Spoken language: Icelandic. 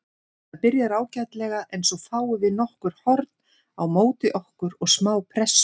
Þetta byrjar ágætlega en svo fáum við nokkur horn á móti okkur og smá pressu.